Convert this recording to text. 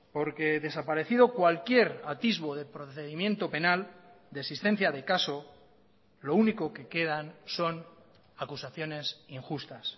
porque desaparecido cualquier atisbo de procedimiento penal de existencia de caso lo único que quedan son acusaciones injustas